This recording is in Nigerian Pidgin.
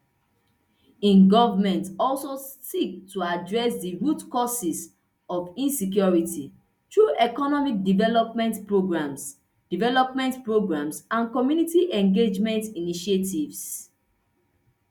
im goment also seek to address di root causes of insecurity through economic development programs development programs and community engagement initiatives